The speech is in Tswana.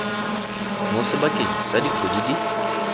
mo sebakeng sa dikgwedi di